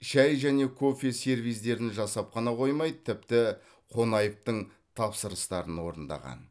шай және кофе сервиздерін жасап қана қоймай тіпті қонаевтың тапсырыстарын орындаған